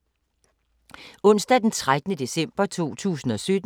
Onsdag d. 13. december 2017